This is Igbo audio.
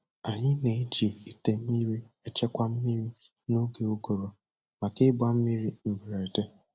Anyị na-eji ite mmiri echekwa mmiri n'oge ụgụrụ maka ịgba mmiri mberede.